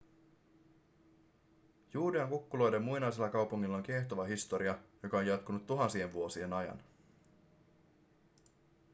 juudean kukkuloiden muinaisella kaupungilla on kiehtova historia joka on jatkunut tuhansien vuosien ajan